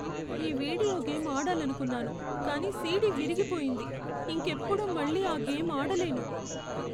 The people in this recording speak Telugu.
ఈ వీడియో గేమ్ ఆడాలనుకున్నాను కానీ సీడీ విరిగిపోయింది. ఇంకెప్పుడూ మళ్ళీ ఆ గేమ్ ఆడలేను.